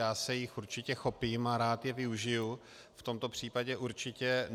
Já se jí určitě chopím a rád ji využiji, v tomto případě určitě.